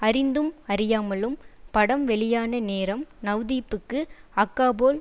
அறிந்தும் அறியாமலும் படம் வெளியான நேரம் நவ்தீப்புக்கு அக்காபோல்